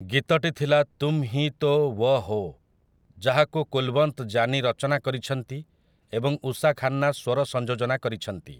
ଗୀତଟି ଥିଲା ତୁମ୍ ହି ତୋ ଓ୍ୱ ହୋ, ଯାହାକୁ କୁଲୱନ୍ତ ଜାନୀ ରଚନା କରିଛନ୍ତି ଏବଂ ଉଷା ଖାନ୍ନା ସ୍ୱର ସଂଯୋଜନା କରିଛନ୍ତି ।